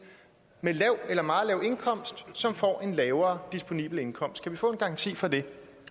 med lav eller meget lav indkomst som får en lavere disponibel indkomst kan vi få en garanti for det